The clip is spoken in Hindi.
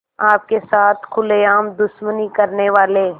आपके साथ खुलेआम दुश्मनी करने वाले